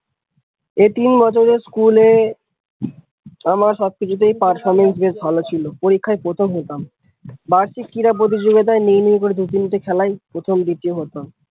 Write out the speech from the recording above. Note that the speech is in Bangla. অথচ school এ আমার সব কিছুতেই performance বেশ ভালো ছিল, পরীক্ষায় প্রথম হতাম, বার্ষিক ক্রীড়া প্রতিযোগিতায় নেই নেই করে দু তিন টে খেলায় প্রথম দ্বিতীয় হতাম।